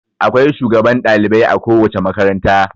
Akwai shugban dalibai a kowace makaranta.